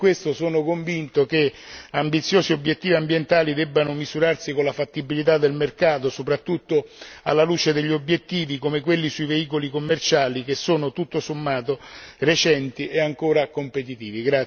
Anche per questo sono convinto che ambiziosi obiettivi ambientali debbano misurarsi con la fattibilità del mercato, soprattutto alla luce degli obiettivi come quelli sui veicoli commerciali che sono, tutto sommato, recenti e ancora competitivi.